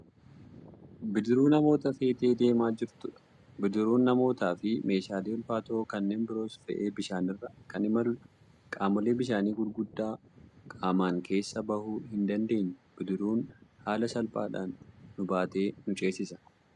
Bidiruu namoota feetee deemaa jirtudha bidiruun namoota fi meeshaalee ulfaatoo kanneen biroos fe'ee bishaanirra Kan imaluudha. Qamoolee bishaanii gurguddaa qaamaan keessa bahuu hin dandeenye bidiruun hala salphaadhaan nu baatee nu ceesisa.